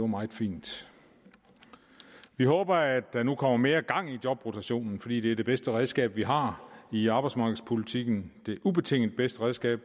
meget fint vi håber at der nu kommer mere gang i jobrotationen fordi det er det bedste redskab vi har i arbejdsmarkedspolitikken det ubetinget bedste redskab